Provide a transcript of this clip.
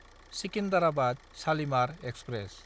सिकिन्डाराबाद–शालिमार express